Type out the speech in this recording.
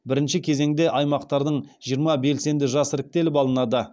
бірінші кезеңде аймақтардың жиырма белсенді жас іріктеліп алынады